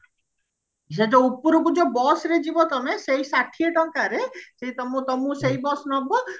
ସେ ଯୋଉ ଉପରକୁ ଯୋଉ busରେ ଯିବ ତମେ ସେ ଯୋଉ ଷାଠିଏ ଟଙ୍କାରେ ସେ ତମ ତ ଆମକୁ ସେଇ bus ନବ